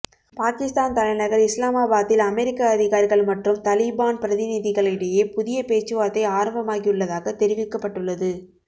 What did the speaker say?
பாகிஸ்தான் தலைநகர் இஸ்லாமாபாத்தில் அமெரிக்க அதிகாரிகள் மற்றும் தலீபான் பிரதிநிதிகளிடையே புதிய பேச்சுவார்த்தை ஆரம்பமாகியுள்ளதாக தெரிவிக்கப்பட்டுள்ளது